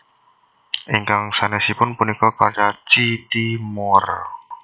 Ingkang sanèsipun punika karya C T Moore